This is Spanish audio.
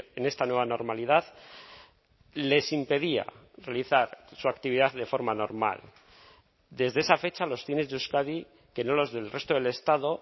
en esta nueva normalidad les impedía realizar su actividad de forma normal desde esa fecha los cines de euskadi que no los del resto del estado